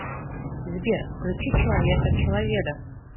сбер включи человека человеда